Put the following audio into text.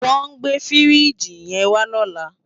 Wòn gbé fírìjí yèn wá lòlá